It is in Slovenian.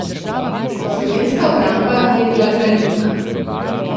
Slovenska obramba je bila granitna.